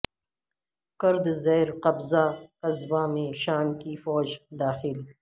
کرد زیرقبضہ قصبہ میں شام کی فوج داخل